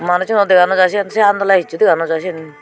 manussuno dega naw jai sen se andole hissu dega naw jai sen.